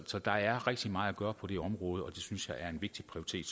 så der er rigtig meget at gøre på det område og det synes jeg er en vigtig prioritet